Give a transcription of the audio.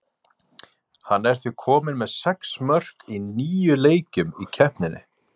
Hann er því kominn með sex mörk í níu leikjum í keppninni.